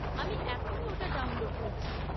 আমি এখনই ওটা ডাউনলোড করছি।